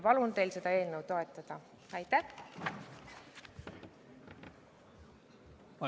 Palun teil seda eelnõu toetada!